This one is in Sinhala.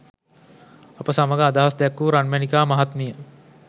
අප සමග අදහස් දැක්වූ රන්මැණිකා මහත්මිය